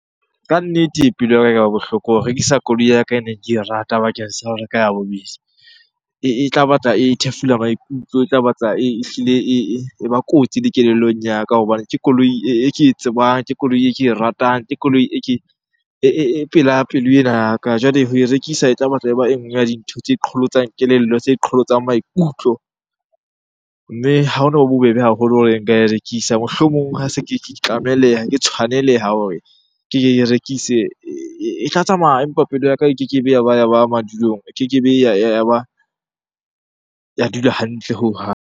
Ka nnete e pelo ya ekaba bohloko ho rekisa koloi ya ka e neng ke e rata bakeng sa ho reka ya bobedi. E tla batla e thefula maikutlo, e tla batla ehlile e ba kotsi le kelellong ya ka. Hobane ke koloi e ke e tsebang, ke koloi e ke e ratang, ke koloi, e ke e pela pelo ena ya ka. Jwale ho e rekisa e tla batla e ba e nngwe ya dintho tse qholotsang kelello, tse qholotsang maikutlo. Mme ha hono ba bobebe haholo hore nka e rekisa. Mohlomong ha se ke tlameleha, ke tshwaneleha hore ke rekise e tla tsamaya empa pelo ya ka e kekebe ya ba madulong, e kekebe ya ba ya dula hantle hohang.